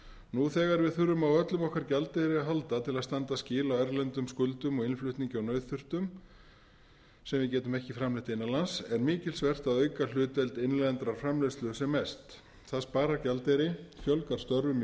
nú þegar við þurfum á öllum okkar gjaldeyri að halda til að standa skil á erlendum skuldum og innflutningi á nauðþurftum sem við getum ekki framleitt innan lands er mikilsvert að auka hlutdeild innlendrar framleiðslu sem mest það sparar gjaldeyri fjölgar störfum í